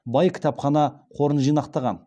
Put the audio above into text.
бай кітапхана қорын жинақтаған